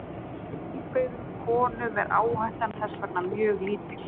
Hjá heilbrigðum konum er áhættan þess vegna mjög lítil.